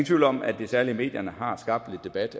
tvivl om at det særlig i medierne allerede har skabt lidt debat